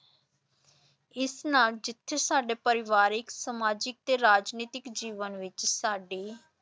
ਇਸ ਨਾਲ ਜਿੱਥੇ ਸਾਡੇ ਪਰਿਵਾਰਕ, ਸਮਾਜਿਕ ਤੇ ਰਾਜਨੀਤਿਕ ਜੀਵਨ ਵਿਚ ਸਾਡੀ